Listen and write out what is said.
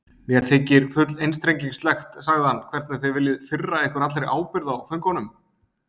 Mér þykir full einstrengingslegt, sagði hann,-hvernig þið viljið firra ykkur allri ábyrgð á föngunum.